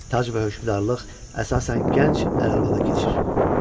Tac və hökmdarlıq əsasən gənc ələrvara keçir.